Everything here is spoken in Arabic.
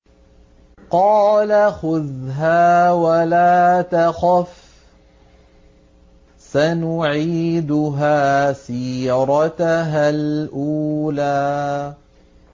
قَالَ خُذْهَا وَلَا تَخَفْ ۖ سَنُعِيدُهَا سِيرَتَهَا الْأُولَىٰ